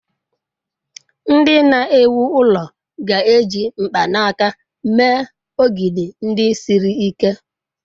Ndị na-ewu ụlọ ga-eji mkpanaka mee ogidi ndị siri ike.